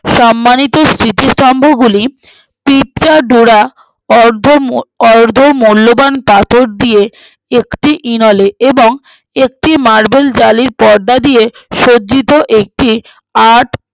সম্মানিত স্মৃতিসৌধগুলি পিচা ডোরা অর্ধ মূহঃ অর্ধ মূল্যবান পাথর দিয়ে একটি ইনালে এবং একটি marble জালির পর্দা দিয়ে সজ্জিত একটি art